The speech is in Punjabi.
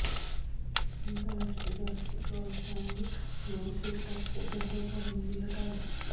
ਅੰਤਰਾਸ਼ਟਰੀ ਬਾਸਕਿਟਬਾਲ ਸੰਘ ਨੇ ਸਿਰ ਢੱਕ ਖੇਡਣ ਤੋਂ ਪਾਬੰਦੀ ਹਟਾਈ